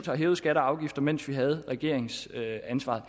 hævet skatter og afgifter massivt mens vi havde regeringsansvaret